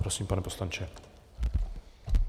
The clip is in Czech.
Prosím, pane poslanče.